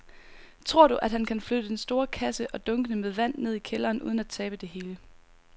Tror du, at han kan flytte den store kasse og dunkene med vand ned i kælderen uden at tabe det hele?